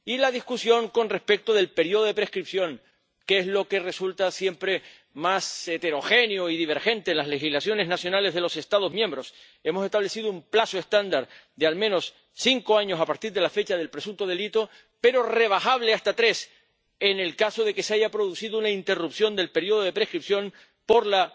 Y la discusión con respecto del periodo de prescripción, que es lo que resulta siempre más heterogéneo y divergente en las legislaciones nacionales de los Estados miembros hemos establecido un plazo estándar de, al menos, cinco años a partir de la fecha del presunto delito, pero rebajable hasta tres en el caso de que se haya producido una interrupción del periodo de prescripción por la